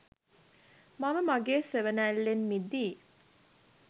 මම මගේ සෙවනැල්ලෙන් මිදී.